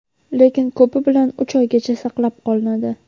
lekin ko‘pi bilan uch oygacha saqlab qolinadi.